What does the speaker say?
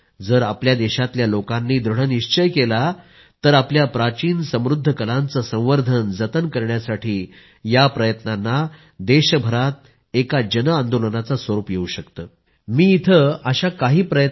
जर आपल्या देशातल्या लोकांनी दृढ निश्चय केला तर आपल्या प्राचीन समृद्ध कलांचे संवर्धन जतन करण्यासाठी या प्रयत्नांना देशभरामध्ये एक जन आंदोलनाचं स्वरूप येवू शकतं